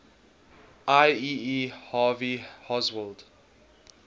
lee harvey oswald